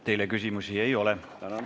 Teile küsimusi ei ole.